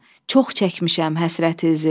Çox çəkmişəm həsrətinizi.